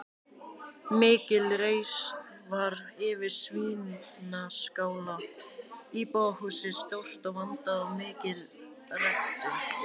Mikil reisn var yfir Svínaskála, íbúðarhúsið stórt og vandað og mikil ræktun.